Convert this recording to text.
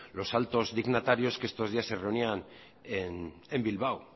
los altos dignatarios que estos días se reunían en bilbao